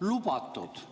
lubatud?